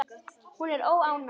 Hún er óánægð.